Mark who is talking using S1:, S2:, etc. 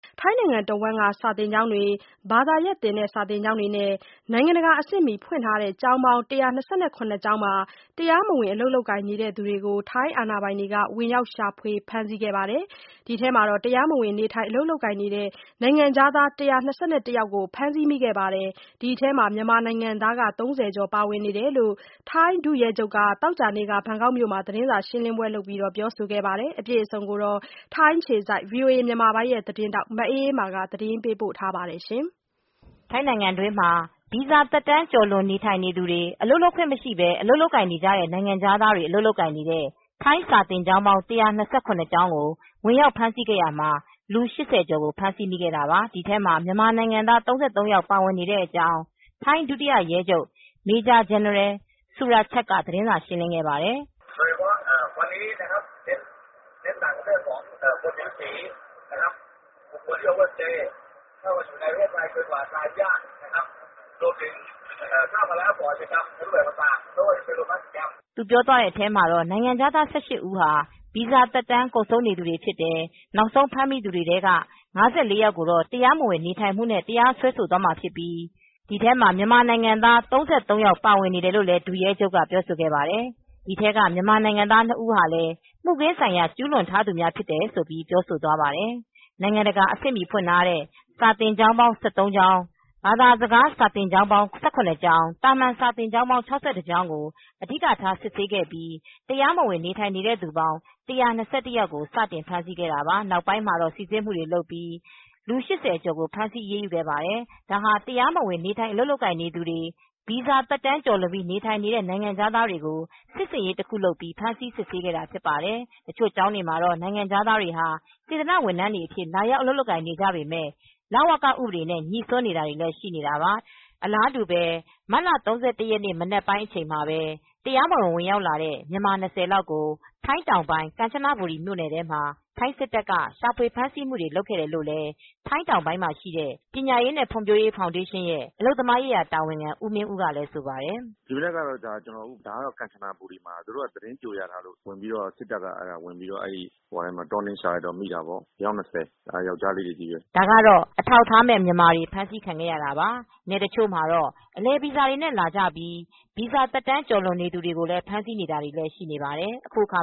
S1: ထိုင်းတနိုင်ငံလုံးက စာသင်ကျောင်းတွေ ဘာသာရပ်သင် စာသင်ကျောင်းတွေနဲ့ နိုင်ငံတကာ အဆင့်မှီဖွင့်ထားတဲ့ ကျောင်းပေါင်း ကျောင်းမှာ တရားမဝင် အလုပ်လုပ်ကိုင်နေသူတွေကို ထိုင်းအာဏာပိုင်တွေက ဝင်ရောက်ရှာဖွေ ဖမ်းဆီးခဲ့ရာမှာ တရားမဝင်နေထိုင် အလုပ်ကိုင်နေတဲ့ နိုင်ငံခြားသား ယောက် ဖမ်းဆီးမိခဲ့ပြီး ဒီထဲမှာ မြန်မာနိုင်ငံသား ကျော် ပါဝင်ကြောင်း ထိုင်းဒုရဲချုပ်က သောကြာနေ့က ဘန်ကောက်မြို့မှာ သတင်းစာရှင်းလင်းပွဲ လုပ်ခဲ့ပါတယ်။ VOA သတင်းထောက် မအေးအေးမာက သတင်းပေးပို့ ထားပါတယ်။ ထိုင်းနိုင်ငံတွင်းမှာ ဗီဇာသက်တမ်း ကျ
S2: ော်လွန်နေသူတွေ အလုပ်လုပ်ခွင့်မရှိပဲ အလုပ်လုပ်ကိုင်နေကြတဲ့ နိုင်ငံခြားသားတွေ အလုပ်လုပ်ကိုင် နေတဲ့ ထိုင်းစာသင်ကျောင်း ကျောင်းကို ဝင်ရောက်ဖမ်းဆီးခဲ့ရာမှာ လူ ကျော်ကို ဖမ်းဆီးခဲ့တာပါ။ ဒီထဲမှာ မြန်မာနိုင်ငံသား ယောက် ပါဝင်တဲ့အကြောင်း ထိုင်းဒုတိယရဲချုပ် Maj-General Surachet က သတင်းစာရှင်းလင်းပွဲမှာ ပြောခဲ့ပါတယ်။ သူပြောသွားတဲ့အထဲမှာ နိုင်ငံခြားသား ဦးဟာ ဗီဇာသက်တမ်း ကုန်ဆုံးနေသူတွေဖြစ်တယ်။ နောက်ဆုံး ဖမ်းမိသူတွေထဲက ယောက်ကို တရားမဝင် နေထိုင်မှုနဲ့တရားစွဲခံရမှာဖြစ်ပြီး အဲဒီထဲမှာ မြန်မာနိုင်ငံသား ယောက် ပါဝင်နေတာလို့လည်း ဒုရဲချုပ်က ပြောဆိုခဲ့ပါတယ်။ ဒီထဲက မြန်မာနိုင်ငံသားနှစ်ဦးဟာ ရာဇဝတ်မှု ကျူးလွန်ထားသူတွေ ဖြစ်တယ်လို့ ပြောဆိုသွားတာပါ။ နိုင်ငံတကာအဆင့်မှီ ဖွင့်ထားတဲ့ စာသင်ကျောင်း ကျောင်း၊ ဘာသာစကားသင် စာသင်ကျောင်းပေါင်း ကျောင်း သာမန် စာသင်ကျောင်းပေါင်း ကျောင်းကို အဓိကထား စစ်ဆေးခဲ့ပြီး တရားမဝင် နေထိုင်နေသူပေါင်း ယောက်ကို စတင်ဖမ်းဆီး ခဲ့တာပါ။ နောက်ပိုင်းမှာတော့ စိစစ်မှုတွေလုပ်ပြီး ကျော်ကို ဖမ်းဆီးအရေးယူခဲ့တာ ဖြစ်ပါတယ်။ ဒါဟာ တရားမဝင်နေထိုင် အလုပ်လုပ်ကိုင် နေသူတွေ၊ ဗီဇာသက်တမ်းလွန်ပြီး နေထိုင်နေသူတွေကို စစ်ဆင်ရေး တခုလိုလုပ်ပြီး စစ်ဆေးဖမ်းဆီးခဲ့တာ ဖြစ်ပါတယ်။ တချို့ကျောင်းတွေမှာတော့ နိုင်ငံခြားသားတွေဟာ စေတနာ့ ဝန်ထမ်းတွေအဖြစ် လာရောက် အလုပ်လုပ်ကိုင်နေကြပေမယ့် လဝကဥပဒေနဲ့ ညိစွန်းနေတာတွေလည်း ရှိပါတယ်။ အလာတူပဲ မတ်လ ၃၁ ရက်နေ့ မနက်ပိုင်းအချိန်မှာ တရားမဝင် ဝင်ရောက်လာတဲ့ မြန်မာ လောက်ကို ထိုင်းတောင်ပိုင်း ကမ်ချနာဘူရီ မြို့နယ်ထဲမှာ ထိုင်းစစ်တပ်ကရှာဖွေ ဖမ်းဆီးမှုတွေ လုပ်ခဲ့တယ်လို့လည်း ထိုင်းတောင်ပိုင်း ပညာရေးနဲ့ ဖွံဖြိုးရေးဖောင်ဒေးရှင်းရဲ့ အလုပ်သမားရေးရာ တာဝန်ခံ ဦးမင်းဦးကလည်း ဆိုပါတယ်။ “ ဒီမနက်ကတော့ ဒါ ကမ်ချနာဘူရီမှာ သူတို့က သတင်းကြိုရထားလို့ ဝင်ပြီးတော့ ထိုင်းစစ်တပ်က တောနင်းရှာလိုက်တော့ မိတာပေါ့။ အယောက် ၂၀။ ယောကျ်ားလေးတွေ ချည်းပဲ” ဒါကတော့ အထောက်အထားမဲ့ မြန်မာတွေ ဖမ်းဆီးခံခဲ့ရတာပါ။ နယ်တချို့မှာတော့ အလည်ဗီဇာနဲ့လာပြီး ဗီဇာသက်တမ်း ကျော်လွန် နေသူတွေကို ဖမ်ဆီးနေတာလည်း ရှိနေပါတယ်။ အခုအခါ